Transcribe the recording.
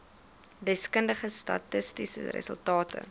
deskundige statistiese resultate